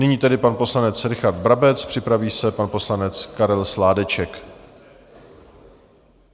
Nyní tedy pan poslanec Richard Brabec, připraví se pan poslanec Karel Sládeček.